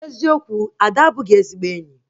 Eziokwu, Ada abụghị ezigbo enyi